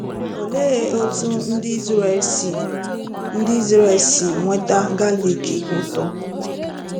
Olee otú ndị Izrel si ndị Izrel si nweta galik ụtọ?